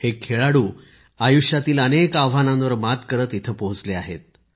हे खेळाडू आयुष्यातील अनेक आव्हानांवर मात करत इथे पोहोचले आहेत